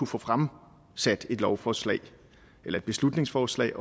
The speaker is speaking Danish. få fremsat et lovforslag eller et beslutningsforslag